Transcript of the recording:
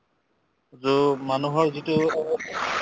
যুগ মানুহৰ যিটো